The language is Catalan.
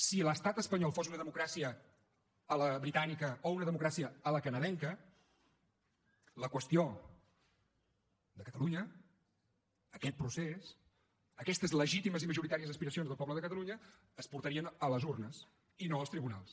si l’estat espanyol fos una democràcia a la britànica o una democràcia a la canadenca la qüestió de catalunya aquest procés aquestes legítimes i majoritàries aspiracions del poble de catalunya es portarien a les urnes i no als tribunals